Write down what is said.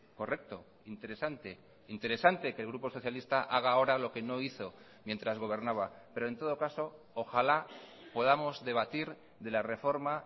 correcto interesante interesante que el grupo socialista haga ahora lo que no hizo mientras gobernaba pero en todo caso ojalá podamos debatir de la reforma